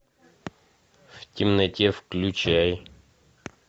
в темноте включай